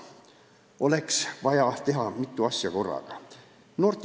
Noorte inimeste jaoks oleks vaja teha mitut asja korraga.